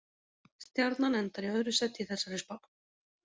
Stjarnan endar í öðru sæti í þessari spá.